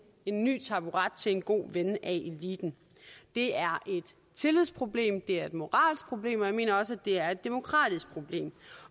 en ny taburet til en god ven af eliten det er et tillidsproblem det er et moralsk problem og jeg mener også at det er et demokratisk problem